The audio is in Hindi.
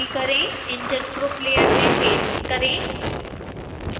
engine group layer में पेस्ट करें